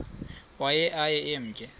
waye aye emke